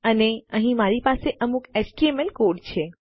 અને અહીં મારી પાસે અમુક એચટીએમએલ કોડ છે